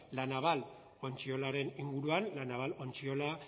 la naval ontziolaren inguruan la naval ontziola